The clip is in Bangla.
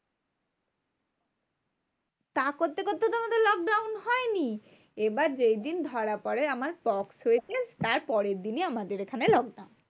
তা করতে করতে তো আমাদের lockdown হয়নি, এইবার যেইদিন ধরা পরে আমার pox হয়েছে, তারপরের দিনই আমাদের এখানে lockdown.